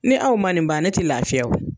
Ni aw man nin ban ne tɛ laafiya o.